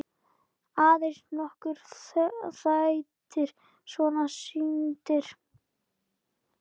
Aðeins nokkrir þættir voru sýndir.